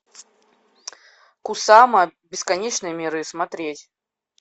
кусама бесконечные миры смотреть